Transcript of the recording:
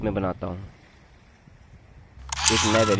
और यहाँ multiple